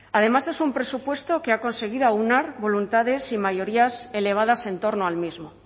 además es un presupuesto que ha conseguido aunar voluntades y mayorías elevadas en torno al mismo